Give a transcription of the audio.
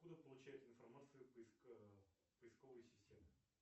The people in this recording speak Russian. откуда получает информацию поисковая система